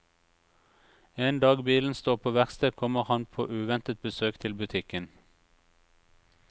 En dag bilen står på verksted kommer han på uventet besøk til butikken.